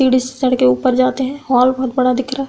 सीढ़ी से चढ़ के ऊपर जाते हैं। हॉल बहोत बड़ा दिख रहा है।